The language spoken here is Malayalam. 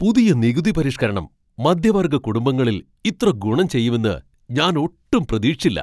പുതിയ നികുതിപരിഷ്കരണം മധ്യവർഗ കുടുംബങ്ങളിൽ ഇത്ര ഗുണം ചെയ്യുമെന്ന് ഞാൻ ഒട്ടും പ്രതീക്ഷിച്ചില്ല.